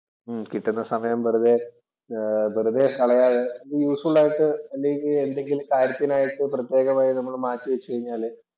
ഉം കിട്ടുന്ന സമയം വെറുതെ വെറുതെ കളയാതെ യൂസ്ഫുള്‍ ആയിട്ട് അല്ലെങ്കിൽ എന്തെങ്കിലും കാര്യത്തിനായിട്ട് പ്രത്യേകമായി നമ്മള് മാറ്റിവെച്ചു കഴിഞ്ഞാല്